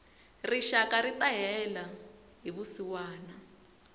rixaka rita hela hi vusiwana